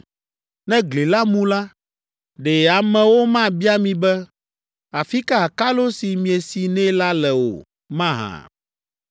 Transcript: Ne gli la mu la, ɖe amewo mabia mi be, ‘Afi ka akalo si miesi nɛ la le o’ mahã?”